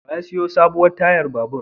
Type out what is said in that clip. Wa ya sayo sabuwar tayar babur?